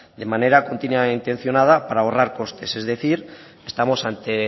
de manera continua e intencionada para ahorrar costes es decir estamos ante